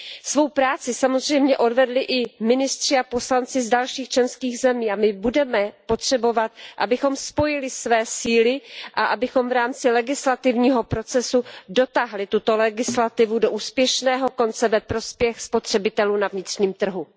Svou práci samozřejmě odvedli i ministři a poslanci z dalších členských zemí a my budeme potřebovat, abychom spojili své síly a abychom v rámci legislativního procesu dotáhli tuto legislativu do úspěšného konce ve prospěch spotřebitelů na vnitřním trhu.